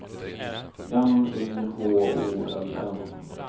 N Y H O L M